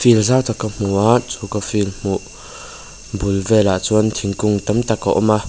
field zau tak ka hmu a chu ka field hmuh bul velah chuan thingkung tam tak a awm a.